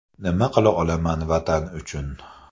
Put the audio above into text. Nima qila olaman Vatan uchun?